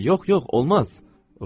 Yox, yox, olmaz!